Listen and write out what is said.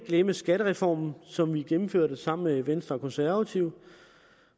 den skattereform som vi har gennemført sammen med venstre og konservative